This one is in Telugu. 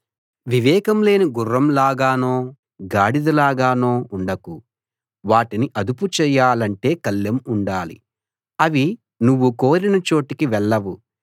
వివేకం లేని గుర్రం లాగానో గాడిద లాగానో ఉండకు వాటిని అదుపు చేయాలంటే కళ్ళెం ఉండాలి అవి నువ్వు కోరిన చోటికి వెళ్ళవు